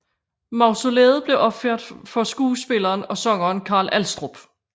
Mausolæet blev opført for skuespilleren og sangeren Carl Alstrup